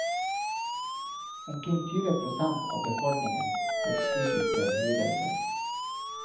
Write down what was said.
Omkring tyve prosent av befolkningen har psykiske lidelser.